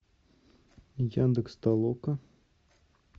яндекс толока